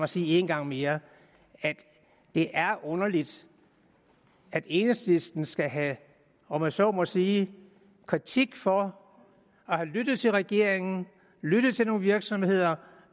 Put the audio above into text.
sige en gang mere at det er underligt at enhedslisten skal have om jeg så må sige kritik for at have lyttet til regeringen lyttet til nogle virksomheder